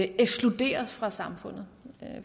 ekskluderes fra samfundet